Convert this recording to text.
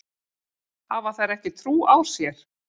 Hafa þær ekki trú á sér?